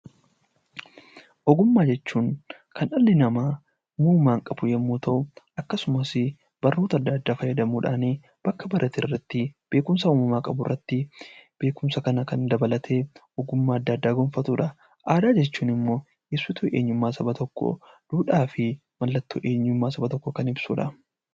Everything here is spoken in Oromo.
Ogummaa jechuun kan dhalli namaa uumamaan qabu yoo ta'u akkasumas barnoota adda addaa fayyadamuudhaan bakka baraterratti beekumsa uumamaan qaburratti beekumsa kana dabalatee kan ogummaa gonfatudha. Aadaa jechuun immoo ibsituu eenyummaa saba tokkoo duudhaa fi eenyummaa saba tokkoo kan ibsudha.